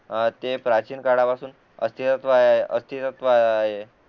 ते प्राचीन काळापासून अस्तित्वात आहे